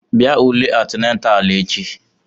Bịa ule antinatalụ echi!